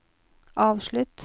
avslutt